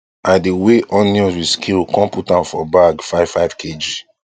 i dey weigh onions with scale com put am for bag five five kg